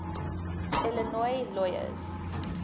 illinois lawyers